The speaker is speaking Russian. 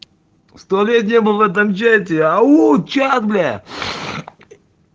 сто лет не был в этом чате ау чат бля